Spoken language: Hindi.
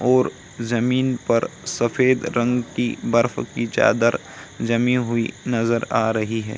और जमीन पर सफ़ेद रंग की बर्फ की चादर जमी हुई नजर आ रही है।